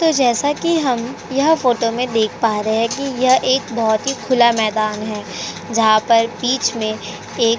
तो जैसा कि हम यह फोटो में देख पा रहे हैं कि यह एक बहुत ही खुला मैदान है जहाँ पर बीच में एक --